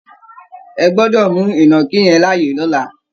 Ẹ gbọ́dọ̀ mú ìnàkí yẹn láàyè lọ́là!